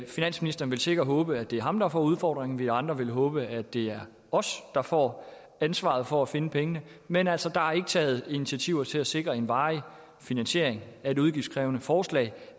finansministeren vil sikkert håbe at det er ham der får udfordringen vi andre vil håbe at det er os der får ansvaret for at finde pengene men altså der er ikke taget initiativer til at sikre en varig finansiering af et udgiftskrævende forslag